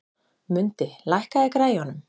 Mundi, lækkaðu í græjunum.